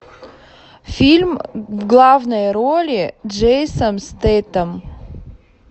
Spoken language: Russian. фильм в главной роли джейсон стэтхэм